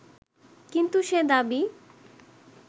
কিন্তু সে দাবি